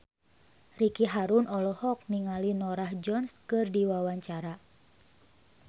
Ricky Harun olohok ningali Norah Jones keur diwawancara